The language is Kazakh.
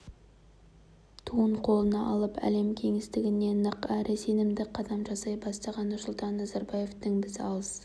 туын қолына алып әлем кеңістігіне нық әрі сенімді қадам жасай бастаған нұрсұлтан назарбаевтың біз алыс